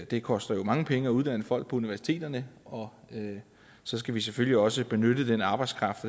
det koster jo mange penge at uddanne folk på universiteterne og så skal vi selvfølgelig også benytte den arbejdskraft